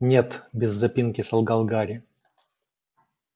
нет без запинки солгал гарри